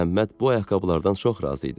Məhəmməd bu ayaqqabılardan çox razı idi.